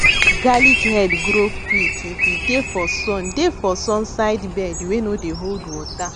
garlic head grow quick if e dey for sun dey for sun side bed wey no dey hold water